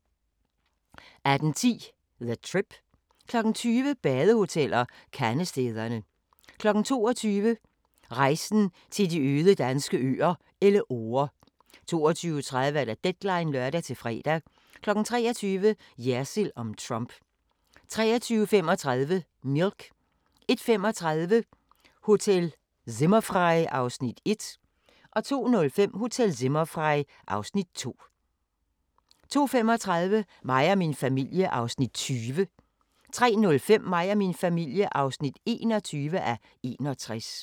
18:10: The Trip 20:00: Badehoteller - Kandestederne 22:00: Rejsen til de øde danske øer - Elleore 22:30: Deadline (lør-fre) 23:00: Jersild om Trump 23:35: Milk 01:35: Hotel Zimmerfrei (Afs. 1) 02:05: Hotel Zimmerfrei (Afs. 2) 02:35: Mig og min familie (20:61) 03:05: Mig og min familie (21:61)